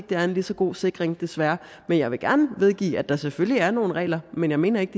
det er en lige så god sikring desværre men jeg vil gerne medgive at der selvfølgelig er nogle regler men jeg mener ikke